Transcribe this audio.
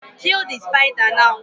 Kill the spider now